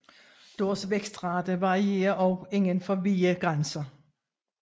Deres vækstrate varierer også inden for vide grænser